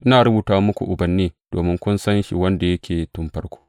Ina rubuta muku, ubanni, domin kun san shi wanda yake tun farko.